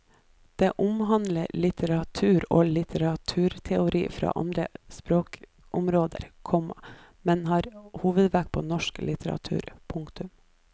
Det omhandler litteratur og litteraturteori fra alle språkområder, komma men har hovedvekt på nordisk litteratur. punktum